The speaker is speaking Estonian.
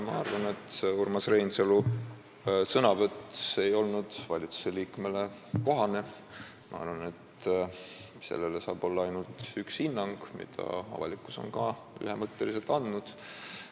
Ma arvan, et Urmas Reinsalu sõnavõtt ei olnud valitsusliikmele kohane ja sellele saab olla ainult üks hinnang, mille avalikkus on ka ühemõtteliselt andnud.